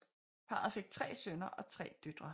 Parret fik tre sønner og tre døtre